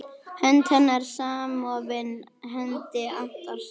Hönd hennar samofin hendi Antons.